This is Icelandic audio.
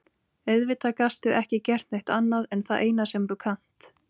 Auðvitað gastu ekki gert neitt annað en það eina sem þú kannt.